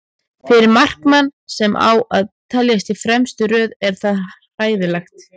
Fyrir markmann sem á að teljast í fremstu röð er það hræðilegt.